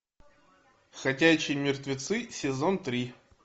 ходячие мертвецы сезон три